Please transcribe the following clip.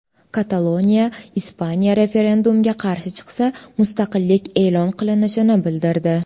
Kataloniya Ispaniya referendumga qarshi chiqsa, mustaqillik e’lon qilinishini bildirdi .